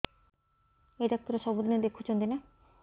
ଏଇ ଡ଼ାକ୍ତର ସବୁଦିନେ ଦେଖୁଛନ୍ତି ନା